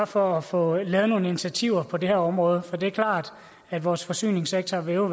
for at få lavet nogle initiativer på det her område for det er klart at vores forsyningssektor jo